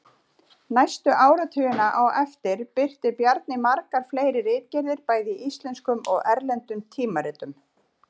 Næstu áratugina á eftir birti Bjarni margar fleiri ritgerðir bæði í íslenskum og erlendum tímaritum.